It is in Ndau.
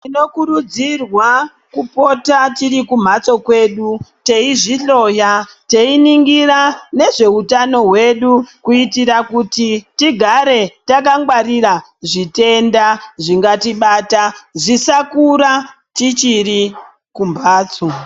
Tinokurudzirwa kupota tirikumhatso kwedu teizvihloya teinongira nezvehutano hwedu. Kuitira kuti tigare takangwarira zvitenda zvingatibata zvisakura tichiri kumhatso.